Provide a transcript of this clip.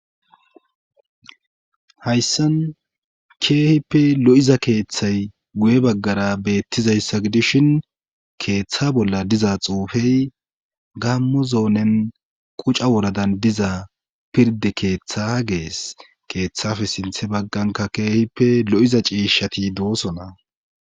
hayssan keehippe lo7iza keeththay guye baggara beettizayssa gidishin keeththa bolla diza xuufey gammo zoonen quca woradan diza pirde keeththa gees keeththafe sinthe bagganka keehippe lo7iza ciishati doosona